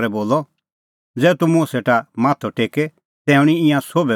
ज़ै तूह मुंह सेटा माथअ टेके तै हणीं ईंयां सोभै गल्ला तेरी